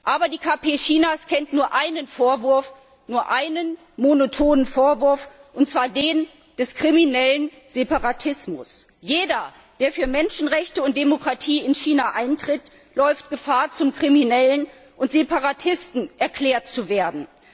Aber die KP Chinas kennt nur einen Vorwurf, nur einen monotonen Vorwurf, und zwar den des kriminellen Separatismus. Jeder, der für Menschenrechte und Demokratie in China eintritt, läuft Gefahr zum Kriminellen und Separatisten erklärt zu werden.